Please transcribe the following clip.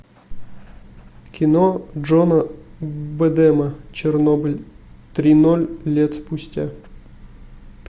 кино джона бэдэма чернобыль три ноль лет спустя